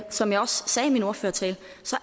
som jeg også sagde i min ordførertale